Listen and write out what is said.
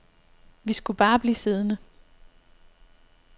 Vi skulle bare blive siddende.